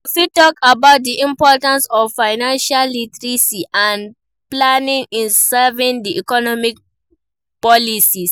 you fit talk about di importance of financial literacy and planning in surviving di economic policies.